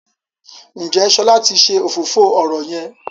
Njé Shola tí ṣe òfófó ọrọ yén?